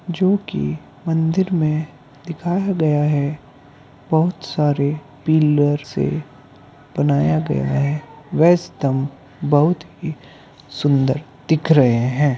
जोकि मंदिर में दिखाया गया है बहुत सारे पिल्लर से बनाया गया है वह स्तम्भ बहुत ही सुन्दर दिख रहे हैं।